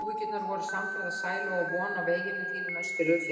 Og Áhyggjurnar voru samferða sælu og von á veginum til þín austur yfir fjall.